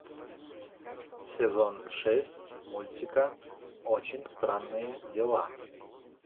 сезон шесть мультика очень странные дела